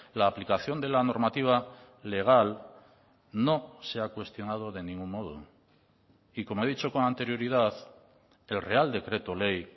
la aplicación de la normativa legal no se ha cuestionado de ningún modo y como he dicho con anterioridad el real decreto ley